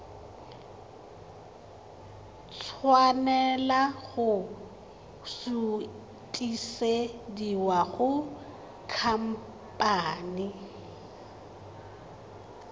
tshwanela go sutisediwa go khamphane